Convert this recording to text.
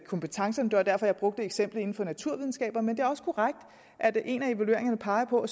kompetencerne det var derfor jeg brugte eksemplet inde fra naturvidenskaber men det er også korrekt at en af evalueringerne peger på